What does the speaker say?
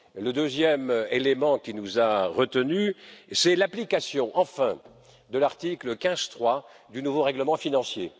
Le deuxième élément qui nous a retenus, c'est l'application, enfin, de l'article 15, paragraphe 3, du nouveau règlement financier.